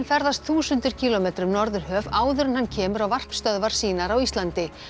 ferðast þúsundir kílómetra um Norðurhöf áður en hann kemur á varpstöðvar sínar á Íslandi